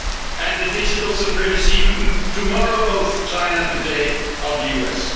and the digital supremacy tomorrow, of China, today of the